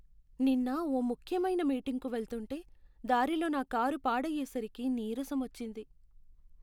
నిన్న ఓ ముఖ్యమైన మీటింగ్కు వెళ్తుంటే దారిలో నా కారు పాడయ్యేసరికి నీరసం వచ్చింది.